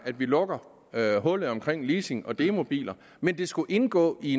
at vi lukker hullet omkring leasing og demobiler men det skulle indgå i